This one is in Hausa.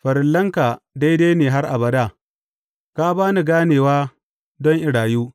Farillanka daidai ne har abada; ka ba ni ganewa don in rayu.